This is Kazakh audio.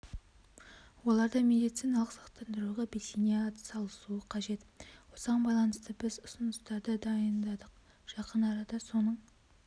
олар да медициналық сақтандыруға белсене атсалысуы қажет осыған байланысты біз ұсыныстарды дайындадық жақын арада соның